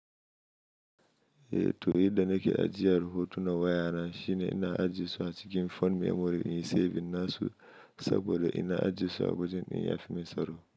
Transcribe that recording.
Eh to, yadda nake ajiye rahoto na waya na shine ina ajiyesuwa cikin phone memory in yi saving na su saboda ina ajiyesu a wajen ɗin yafi min tsaro.